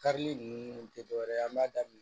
Karili ninnu tɛ dɔwɛrɛ ye an b'a daminɛ